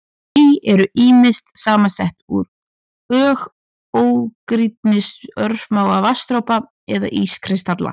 Ský eru ýmist samsett úr ógrynni örsmárra vatnsdropa eða ískristalla.